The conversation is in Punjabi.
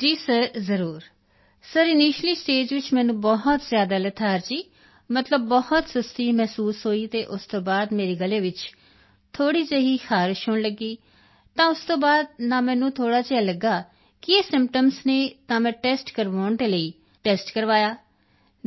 ਜੀ ਸਰ ਜ਼ਰੂਰ ਸਰ ਇਨੀਸ਼ੀਅਲੀ ਸਟੇਜ ਵਿੱਚ ਮੈਨੂੰ ਬਹੁਤ ਜ਼ਿਆਦਾ ਲੇਥਾਰਜੀ ਮਤਲਬ ਬਹੁਤ ਸੁਸਤੀ ਮਹਿਸੂਸ ਹੋਈ ਅਤੇ ਉਸ ਤੋਂ ਬਾਅਦ ਮੇਰੇ ਗਲੇ ਵਿੱਚ ਥੋੜ੍ਹੀ ਜਿਹੀ ਖਾਰਸ਼ ਹੋਣ ਲੱਗੀ ਤਾਂ ਉਸ ਤੋਂ ਬਾਅਦ ਨਾ ਮੈਨੂੰ ਥੋੜ੍ਹਾ ਜਿਹਾ ਲੱਗਾ ਕਿ ਇਹ ਸਿੰਪਟਮਜ਼ ਹਨ ਤਾਂ ਮੈਂ ਟੈਸਟ ਕਰਵਾਉਣ ਦੇ ਲਈ ਟੈਸਟ ਕਰਵਾਇਆ